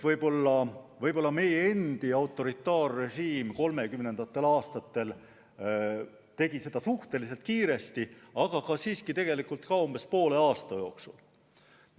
Võib-olla meie endi autoritaarrežiim 1930. aastatel tegi seda suhteliselt kiiresti, aga siiski ka umbes poole aasta jooksul.